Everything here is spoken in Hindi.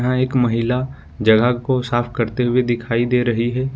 यह एक महिला जगह को साफ करते हुए दिखाई दे रही है।